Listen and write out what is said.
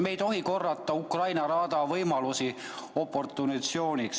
Me ei tohi korrata Ukraina raada võimalusi oportunismiks.